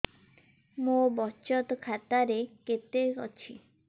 ମୋ ବଚତ ଖାତା ରେ କେତେ ଅଛି